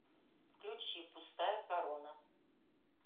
включи пустая корона